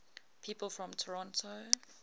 people from toronto